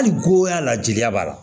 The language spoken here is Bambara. Hali goya la jeliya b'a la